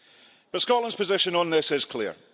But Scotland's position on this is clear.